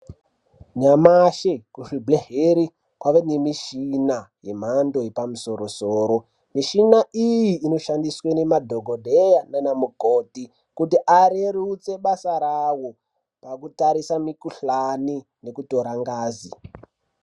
Nyamashi kuzvibhedhlera kwava nemishina yemhando yepamusoro -soro. Mishina iyi inoshandiswa nemadhokodheya naanamukoti kuti areruse basa rawo pakutarise mikhuhlani nekutora ngazi.